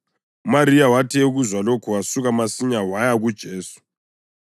UMariya wathi ekuzwa lokhu wasuka masinyane waya kuJesu.